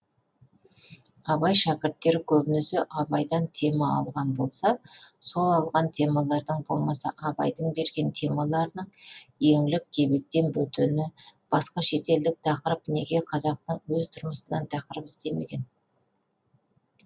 абай шәкірттері көбінесе абайдан тема алған болса сол алған темалардың болмаса абайдың берген темаларының еңлік кебектен бөтені басқа шетелдік тақырып неге қазақтың өз тұрмысынан тақырып іздемеген